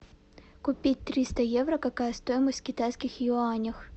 купить триста евро какая стоимость в китайских юанях